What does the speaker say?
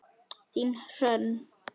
Þín Hrönn.